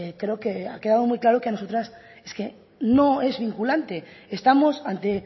creo que ha quedado muy claro que a nosotras es que no es vinculante estamos ante